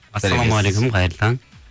ассалаумағалейкум қайырлы таң